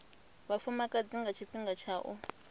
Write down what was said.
vhafumakadzi nga tshifhinga tsha u